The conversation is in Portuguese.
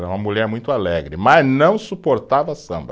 Era uma mulher muito alegre, mas não suportava samba.